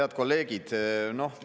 Head kolleegid!